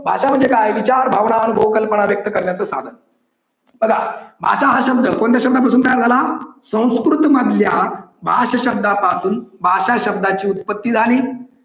भाषा म्हणजे काय विचार भावना अनुभव व्यक्त करण्याचे साधन. बघा भाषा हा शब्द कोणत्या शब्दापासून तयार झाला संस्कृत मधल्या भाष शब्दापासून भाषा शब्दाची उत्पत्ती झाली.